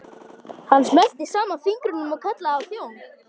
Hann smellti saman fingrum og kallaði á þjón.